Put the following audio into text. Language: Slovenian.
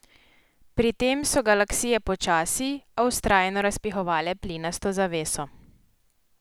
Pri tem so galaksije počasi, a vztrajno razpihovale plinasto zaveso.